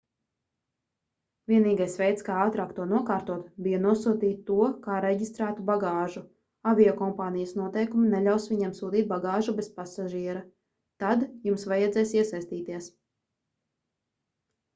vienīgais veids kā ātrāk to nokārtot bija nosūtīt to kā reģistrētu bagāžu aviokompānijas noteikumi neļaus viņiem sūtīt bagāžu bez pasažiera tad jums vajadzēs iesaistīties